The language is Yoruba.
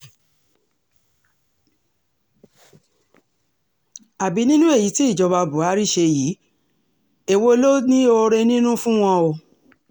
àbí nínú èyí tí ìjọba buhari ṣe yìí èwo ló ní oore nínú fún wọn o